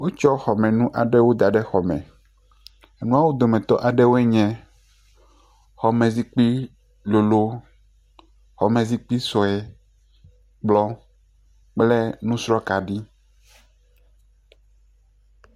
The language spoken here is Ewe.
Wotsɔ xɔmenu aɖewo da ɖe xɔ me. Enuawo dometɔ aɖewoe nyee xɔme zikpui lolo, xɔme zikpui sɔe kplɔ kple nusr kaɖi.